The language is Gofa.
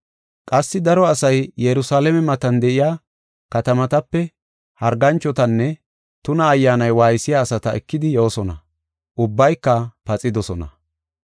Qassi daro asay Yerusalaame matan de7iya katamatape harganchotanne tuna ayyaani waaysiya asata ekidi yoosona; ubbayka paxidosona.